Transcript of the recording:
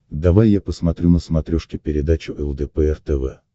давай я посмотрю на смотрешке передачу лдпр тв